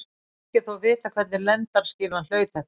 Ekki er þó vitað hvernig lendaskýlan hlaut þetta heiti.